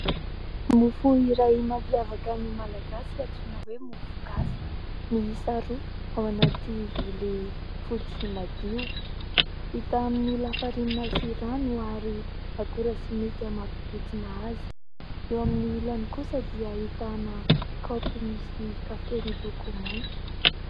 Mofo iray mampiavaka ny malagasy antsoina hoe mofo gasy miisa roa ao anaty vilia fotsy madio. Vita amin'ny lafarinina sy rano ary akora simika mampibotsina azy. Eo amin'ny ilany kosa dia ahitana kaopy misy kafe miloko mainty